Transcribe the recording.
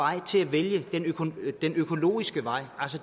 at vælge den økologiske vej